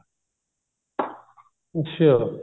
ਅੱਛਿਆ